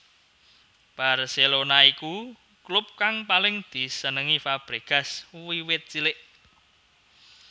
Barcelona iku klub kang paling disenengi Fabregas wiwit cilik